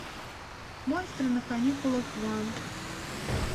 монстры на каникулах два